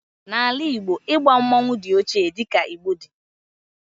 n'ala Igbo, igba mmanwu di ochie di ka Igbo di